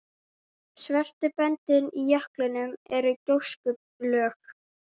Svörtu böndin í jöklinum eru gjóskulög.